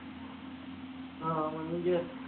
அஹ் ஆமா நீங்க